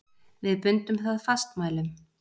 Við bundum það fastmælum.